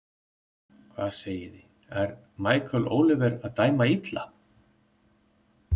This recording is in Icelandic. Hvað segiði, er Michael Oliver að dæma illa?